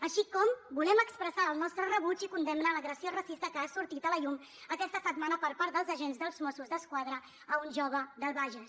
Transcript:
així com volem expressar el nostre rebuig i condemna a l’agressió racista que ha sortit a la llum aquesta setmana per part dels agents dels mossos d’esquadra a un jove del bages